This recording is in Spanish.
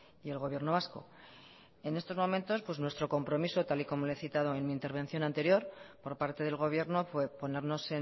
y el gobierno vasco en estos momentos nuestro compromiso tal y como le he citado en mi intervención anterior por parte del gobierno fue ponernos